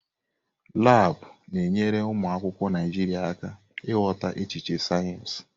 Laabụ̀ na-enyere ụmụ akwụkwọ Naịjiria aka ịghọta echiche sayensị.